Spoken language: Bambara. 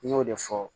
N y'o de fɔ